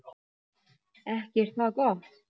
Ekki er það gott!